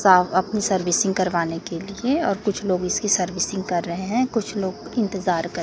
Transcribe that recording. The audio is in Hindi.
सा अपनी सर्विसिंग करवाने के लिए और कुछ लोग इसकी सर्विसिंग कर रहे हैं कुछ लोग इंतजार कर--